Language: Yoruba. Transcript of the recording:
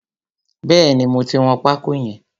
Bẹ́ẹ̀ni, mo ti wọn pákó yẹn.